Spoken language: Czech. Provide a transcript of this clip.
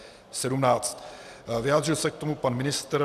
Vyjádřil se k tomu pan ministr.